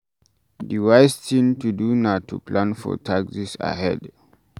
Di wise thing to do na to plan for taxes ahead